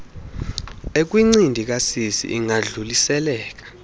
ekwincindi kasisi ingadluliseleka